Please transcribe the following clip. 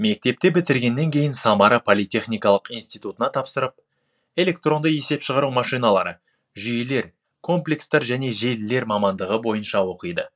мектепті бітіргеннен кейін самара политехникалық институтына тапсырып электронды есеп шығару машиналары жүйелер комплекстар және желілер мамандыға бойынша оқиды